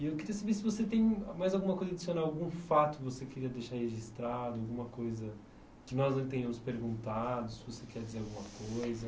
E eu queria saber se você tem mais alguma coisa adicional, algum fato que você queria deixar registrado, alguma coisa que nós não tenhamos perguntado, se você quer dizer alguma coisa.